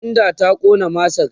tendan ta Ƙona masar?